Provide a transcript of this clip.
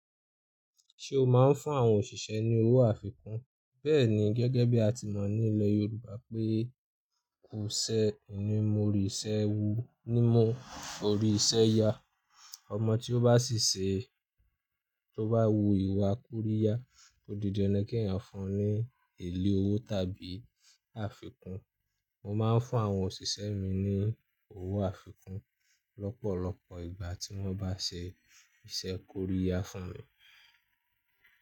Ṣé o máa ń fún àwọn òṣìṣẹ́ ní owó àfikún? Bẹ́ẹ̀ni, gẹ́gẹ́ bí a ti mọ̀ nílẹ̀ Yorùbá pé "ku'ṣẹ́ o ni mọ oríṣẹ́ wu, ni mu oríṣẹ́ yá", ọmọ tí ó bá ṣìṣẹ́, tó bá wu ìwà kóríyá, o di dandan kí ẹ̀yàn fún un ní èlé owó tàbí àfikún. Mo máa ń fún àwọn òṣìṣẹ́ mi ní owó àfikún lọ́pọ̀lọpọ̀ ìgbà tí wọ́n bá ṣe iṣẹ́ kóríyá fún mi.